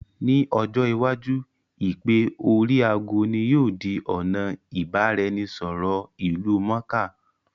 Ní ojọ́ iwájú, Ìpè oríi aago ní yóò di ọ̀nà ìbá-ra-ẹnì- sọ̀rọ̀ ìlú mọ̀ọ́ká